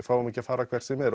fáum ekki að fara hvert sem er